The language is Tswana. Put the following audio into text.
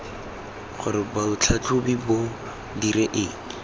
gore botlhatlhobi bo dire eng